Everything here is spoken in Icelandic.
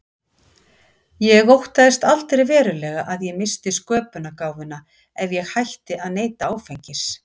Ég óttaðist aldrei verulega að ég missti sköpunargáfuna ef ég hætti að neyta áfengis.